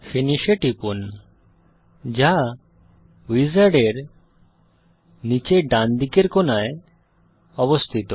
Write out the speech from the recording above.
finish এ টিপুন যা উইজার্ডের নীচের ডানদিকের কোণায় অবস্থিত